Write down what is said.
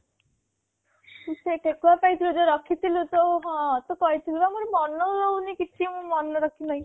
ତୁ ସେ ଠେକୁଆ ପାଇଁ ତୁ ଯୋଉ ରଖି ଥିଲୁ ତ ହଁ ତୁ କହି ଥିଲୁ ବା ମୋର ମନ ରହୁନି କିଛି ମୁଁ ମନ ରଖି ନାହିଁ